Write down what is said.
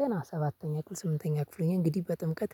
ገና ሰባተኛ ክፍል ስምንተኛ ክፍል ሆኜ እንግዲህ በጥምቀት